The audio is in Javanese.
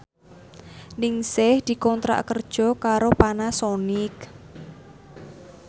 Ningsih dikontrak kerja karo Panasonic